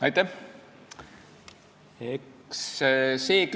Aitäh!